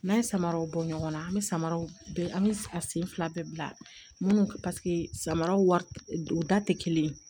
N'an ye samaraw bɔ ɲɔgɔnna an bɛ samaraw bɛɛ sen fila bɛɛ bila minnu samaraw wari tɛ kelen